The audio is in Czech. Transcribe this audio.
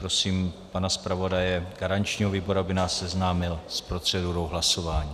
Prosím pana zpravodaje garančního výboru, aby nás seznámil s procedurou hlasování.